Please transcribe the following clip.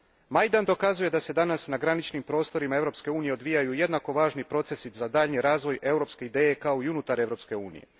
Majdan dokazuje da se danas na graničnim prostorima Europske unije odvijaju jednako važni procesi za daljnji razvoj europske ideje kao i unutar Europske unije.